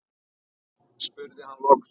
spurði hann loks.